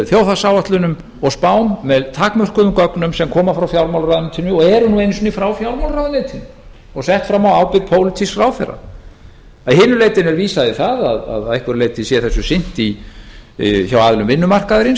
þjóðhagsáætlunum og spám með takmörkuðum gögnum sem koma frá fjármálaráðuneytinu og eru nú einu sinni frá fjármálaráðuneytinu og sett fram á ábyrgð pólitísks ráðherra að hinu leytinu er vísað í það að að einhverju leyti sé þessu sinnt hjá aðilum vinnumarkaðarins